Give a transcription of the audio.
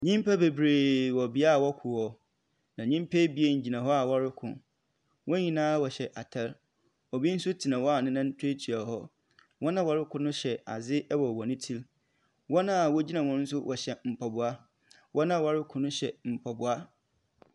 Nyimpa bebree wɔ beae a wɔko hɔ, na nyimpa ebien gyina hɔ a wɔreko. Wɔn nyinaa wɔhyɛ atar. Obi nso tena hɔ a ne nan tuatua hɔ. Wɔn a wɔreko no hyɛ adze wɔ wɔn tsir mu. Wɔn a wogyin hɔ no nso wɔhyɛ moaboa. Wɔn a wɔreko no nso hyɛ mpaboa.